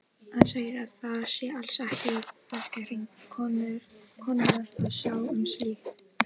Hann segir að það sé alls ekki í verkahring konunnar að sjá um slíkt.